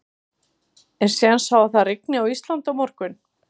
Er séns á að það rigni á Íslandi á morgun?